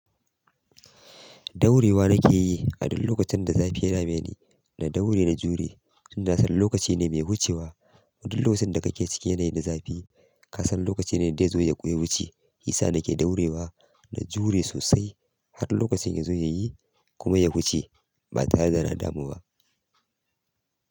Ɗaurewa nake yi? A duk lokacin da zafi ya dame ni, na ɗaure na jure, tunda nasan lokaci ne mai wucewa. Duk lokacin da kake cikin yanayi na zafi, ka san lokaci ne dai zai zo ya wuce. Hisa nake ɗaurewa da jure sosai har lokacin ya zo yayi kuma ya wuce ba tare da na damu ba.